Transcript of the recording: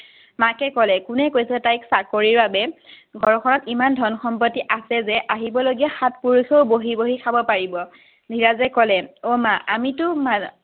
মাকে ক'লে কোনে কৈছে তাক চাকৰিৰ বাবে ঘৰখনত ইমান ধন সম্পত্তি আছে যে আহিব লগীয়া সাত পুৰুষেও বহি বহি খাব পাৰিব, ধীৰজে কলে অ মা আমিতো